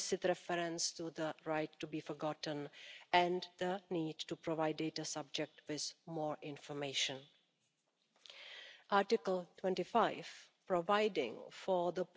Despite the challenge of having different texts, overall, I think we managed to achieve pretty good results.